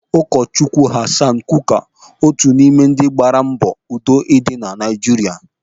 Ụkọ Chukwu Hassan Kuka otu n'ime gbaara mbọ udo dị na Naijiria.